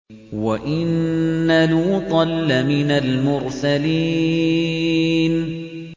وَإِنَّ لُوطًا لَّمِنَ الْمُرْسَلِينَ